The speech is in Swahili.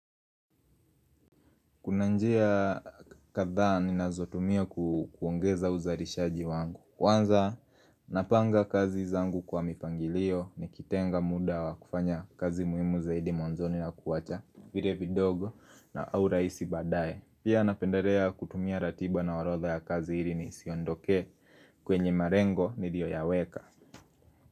Kuna njia kadha ninazo tumia kuongeza uzalishaji wangu Kwanza napanga kazi zangu kwa mipangilio nikitenga muda wa kufanya kazi muhimu zaidi mwanzoni na kuwacha vile vidogo na au rahisi baadaye Pia napendalea kutumia ratiba na orodha ya kazi hili nisiondoke kwenye malengo nilioyaweka.